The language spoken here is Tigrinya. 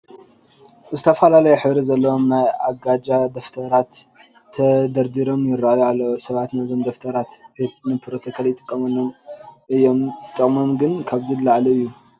ዝተፈላየ ሕብሪ ዘለዎም ናይ ኣጀንዳ ደፍተራት ተደርዲሮም ይርአዩ ኣለዉ፡፡ ሰባት ነዞም ደፍተራት ንፕሮቶኮል ይጥቀሙሎም እዮም፡፡ ጥቅሞም ግን ካብዚ ንላዕሊ እዩ፡፡